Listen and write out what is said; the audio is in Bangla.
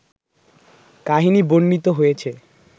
কাহিনি বর্ণিত হয়েছে